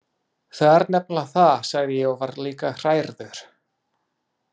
Það er nefnilega það, sagði ég og var líka hrærður.